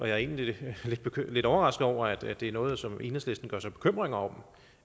jeg er egentlig lidt overrasket over at det er noget som enhedslisten gør sig bekymringer om